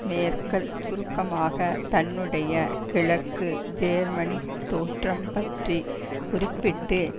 Merkel சுருக்கமாக தன்னுடைய கிழக்கு ஜேர்மனித் தோற்றம் பற்றி குறிப்பிட்டு